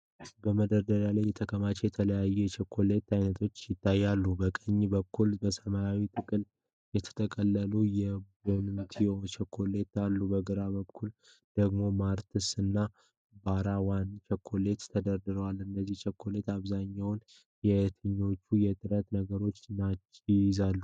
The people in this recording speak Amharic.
መደርደሪያ ላይ የተከማቹ የተለያዩ የቸኮሌት ዓይነቶች ይታያሉ። በቀኝ በኩል በሰማያዊ ጥቅል የተጠቀለሉ የ"BOUNTY" ቸኮሌቶች አሉ። በግራ በኩል ደግሞ "MARS" እና "BAR ONE" ቸኮሌቶች ተደርድረዋል። እነዚህ ቸኮሌቶች በአብዛኛው የትኞቹን ንጥረ ነገሮች ይይዛሉ?